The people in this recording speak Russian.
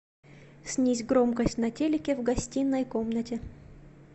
снизь громкость на телике в гостиной комнате